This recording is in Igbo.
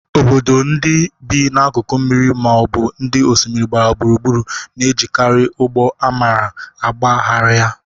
Obodo ndị bi n'akụkụ mmiri ma ọ bụ ndị osimiri gbara gburugburu na-ejekarị ụgbọ amara agbagharịa.